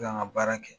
K'an ka baara kɛ